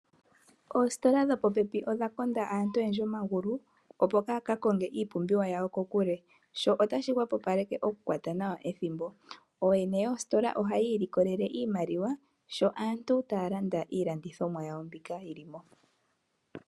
Oositola dhopopepi odha konda aantu omagulu, opo kaaya ka konge iipumbiwa yawo kokule sho otashi hwepopaleke okukwata nawa ethimbo. Ooyene yoositola ohaya ilikolele iimaliwa sho aantu taya landa iilandithomwa yawo mbyoka yi li mo.